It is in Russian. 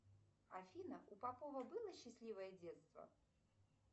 афина у попова было счастливое детство